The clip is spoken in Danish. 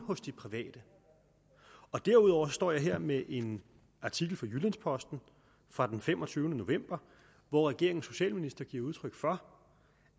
de private derudover står jeg her med en artikel fra jyllands posten fra den femogtyvende november hvor regeringens socialminister giver udtryk for